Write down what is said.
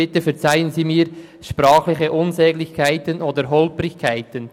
Bitte verzeihen Sie mir sprachliche Unsäglichkeiten oder Holprigkeiten.